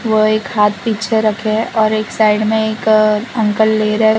वह एक हाथ पीछे रखे है और एक साइड में एक अंकल ले रहा है।